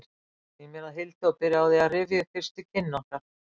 Ég sný mér að Hildi og byrja á því að rifja upp fyrstu kynni okkar.